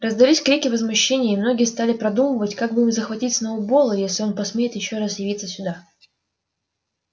раздались крики возмущения и многие стали продумывать как бы им захватить сноуболла если он посмеет ещё раз явиться сюда